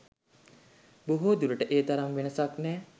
බොහෝදුරට ඒ තරම් වෙනසක් නෑ.